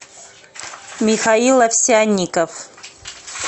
михаил овсянников